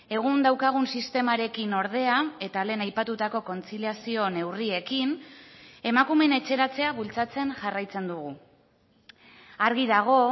egun daukagun sistemarekin ordea eta lehen aipatutako kontziliazio neurriekin emakumeen etxeratzea bultzatzen jarraitzen dugu argi dago